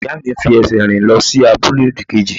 Ìyá mi ń fi ẹsẹ̀ rìn lọ sí abúlé òdì-kejì.